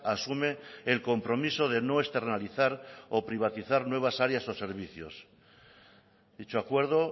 asume el compromiso de no externalizar o privatizar nuevas áreas o servicios dicho acuerdo